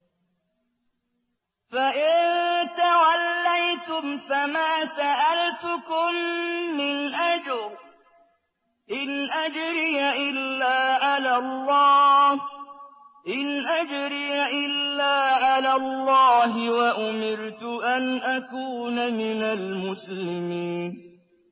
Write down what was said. فَإِن تَوَلَّيْتُمْ فَمَا سَأَلْتُكُم مِّنْ أَجْرٍ ۖ إِنْ أَجْرِيَ إِلَّا عَلَى اللَّهِ ۖ وَأُمِرْتُ أَنْ أَكُونَ مِنَ الْمُسْلِمِينَ